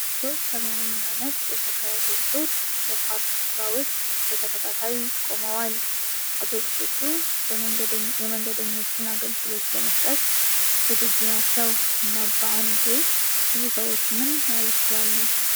ሶስት ሰማያዊና ነጭ የሸገር አውቶቡሶች በፓርክ ስፍራ ውስጥ በተከታታይ ቆመዋል። አውቶቡሶቹ የመንገደኞችን አገልግሎት ለመስጠት ዝግጁ ናቸው እና በአንዴ ብዙ ሰዎችንም መያዝ ይችላሉ።